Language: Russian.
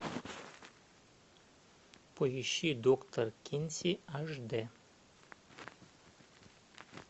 поищи доктор кинси аш д